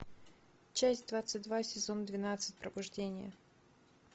часть двадцать два сезон двенадцать пробуждение